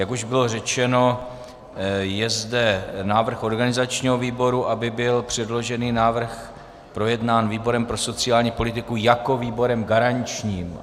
Jak už bylo řečeno, je zde návrh organizačního výboru, aby byl předložený návrh projednán výborem pro sociální politiku jako výborem garančním.